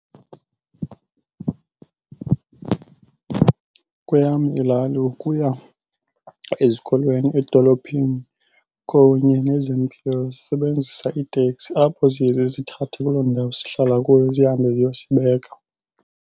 Kweyam ilali ukuya ezikolweni, edolophini kunye nezempilo sisebenzisa iiteksi apho ziye ke zisithathe kuloo ndawo sihlala kuyo zihambe ziyosibeka.